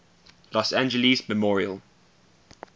los angeles memorial